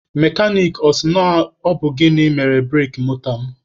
Mekanik a sị na ọ bụ gịnị mere bureki moto m?